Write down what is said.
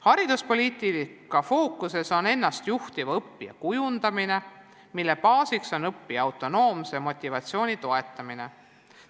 Hariduspoliitika fookuses on ennast juhtiva õppija kujundamine, mille baasiks on õppija autonoomse motivatsiooni toetamine.